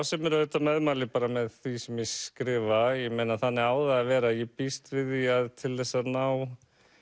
sem eru auðvitað meðmæli með því sem ég skrifa ég meina þannig á það að vera ég býst við því að til þess að ná